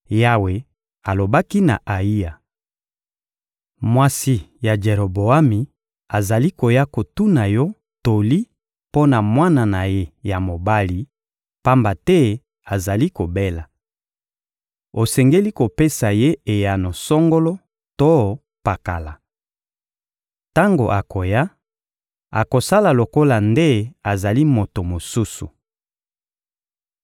Yawe alobaki na Ayiya: — Mwasi ya Jeroboami azali koya kotuna yo toli mpo na mwana na ye ya mobali, pamba te azali kobela. Osengeli kopesa ye eyano songolo to pakala. Tango akoya, akosala lokola nde azali moto mosusu.